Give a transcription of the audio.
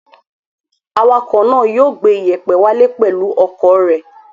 Awakọ̀ náà yóò gbé ìyẹ̀pẹ̀ wálé pẹ̀lú ọkọ̀ rẹ̀.